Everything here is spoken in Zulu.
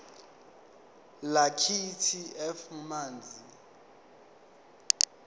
lakithi f manzi